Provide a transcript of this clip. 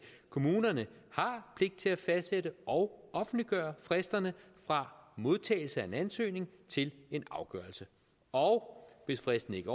kommunerne har pligt til at fastsætte og offentliggøre fristerne fra modtagelse af en ansøgning til en afgørelse og hvis fristen ikke